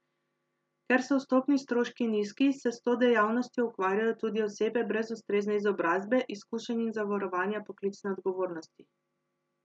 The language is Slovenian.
Ker so vstopni stroški nizki, se s to dejavnostjo ukvarjajo tudi osebe brez ustrezne izobrazbe, izkušenj in zavarovanja poklicne odgovornosti.